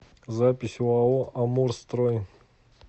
запись оао амурстрой